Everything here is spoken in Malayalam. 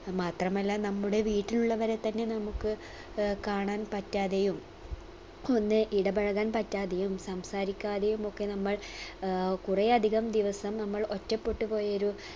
മാത്രമല്ല നമ്മുടെ വീട്ടിലുള്ളവരെ തന്നെ നമ്മുക്ക് അഹ് കാണാൻ പറ്റാതെയും ഒന്ന് ഇടപെഴകാൻ പറ്റാതെയും സംസാരിക്കാതെയും ഒക്കെ നമ്മൾ ആഹ് കുറേ അധികം ദിവസം നമ്മൾ ഒറ്റപ്പെട്ടുപോയൊരു